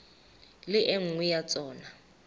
le e nngwe ya tsona